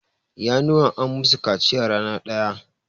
Ƴanuwan an musu kaciya rana ɗaya.